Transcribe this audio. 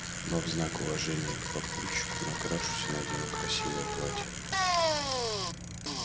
но в знак уважения к папульчику накрашусь и надену красивое платье